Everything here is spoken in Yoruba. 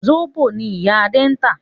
Zobo ni ìyá Adé ń tà